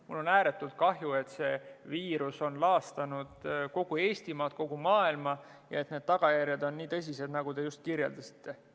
Mul on ääretult kahju, et see viirus on laastanud kogu Eestimaad, kogu maailma ja et need tagajärjed on nii tõsised, nagu te just kirjeldasite.